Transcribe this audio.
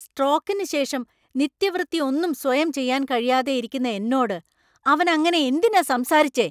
സ്ട്രോക്കിന് ശേഷം നിത്യവൃത്തി ഒന്നും സ്വയം ചെയ്യാന്‍ കഴിയാതെയിരിക്കുന്ന എന്നോട് അവന്‍ അങ്ങനെ എന്തിനാ സംസാരിച്ചേ?